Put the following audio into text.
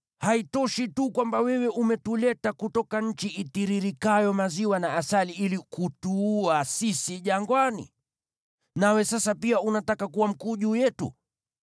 Haitoshi tu kwamba wewe umetuleta kutoka nchi itiririkayo maziwa na asali ili kutuua sisi jangwani? Nawe sasa pia unataka kuwa mkuu juu yetu?